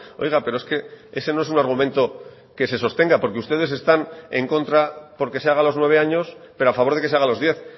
oiga pero es que ese no es un argumento que se sostenga porque ustedes están en contra porque se haga a los nueve años pero a favor de que se haga a los diez